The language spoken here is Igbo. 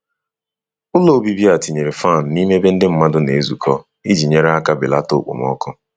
Ụlọ obibi a tinyere fan n’ime ebe ndị mmadụ na-ezukọ iji nyere aka belata okpomọkụ.